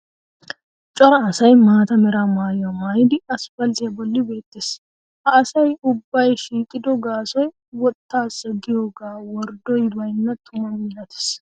Cora asay maata mera maayuwa maayidi aspalttiya bolli beettees. Ha asay ubbay shiiqido gaasoy wottaassa gidiyogee worddoy baynna tuma milatees.